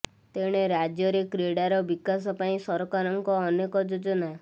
ତେଣେ ରାଜ୍ୟରେ କ୍ରୀଡାର ବିକାଶ ପାଇଁ ସରକାରଙ୍କ ଅନେକ ଯୋଜନା